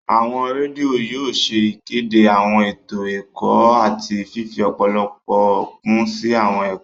Awọn redio yóò ṣe ìkéde awọn eto ẹkọ àti fifi ọpọlọpọ kun si awọn ẹkọ